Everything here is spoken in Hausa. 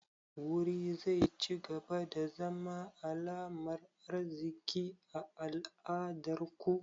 Wuri zai cigaba da zama alamar arziki a al'adar ku?